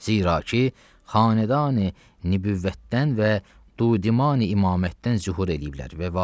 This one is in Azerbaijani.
Zira ki, xanədanı nübüvvətdən və dudimanı imammətdən zühur eləyiblər.